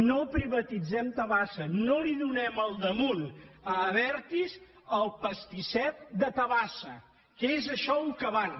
no privatitzem tabasa no li donem a sobre a abertis el pastisset de tabasa que és a això al que van